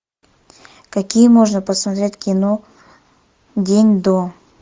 какие можно посмотреть кино день до